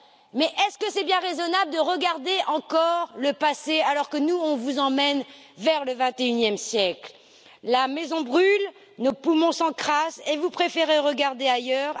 Mais est ce bien raisonnable de regarder encore le passé, alors que nous, on vous emmène vers le XXIe siècle? La maison brûle, nos poumons s'encrassent et vous préférez regarder ailleurs.